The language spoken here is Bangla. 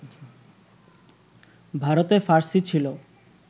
ভারতে ফার্সী ছিল